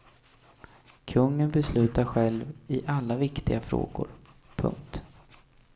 Kungen beslutar själv i alla viktiga frågor. punkt